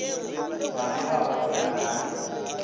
ba be ba otsela ka